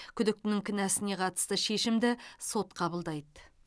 күдіктінің кінәсіне қатысты шешімді сот қабылдайды